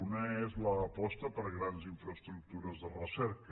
un és l’aposta per grans infraestructures de recerca